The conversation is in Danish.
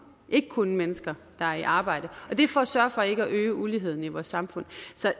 ikke kun til mennesker der er i arbejde det er for at sørge for ikke at øge uligheden i vores samfund